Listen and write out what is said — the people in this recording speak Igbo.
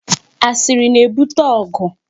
Asiri na-ebute ọgụ.